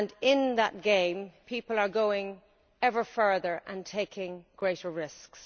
In that game, people are going ever further and taking ever greater risks.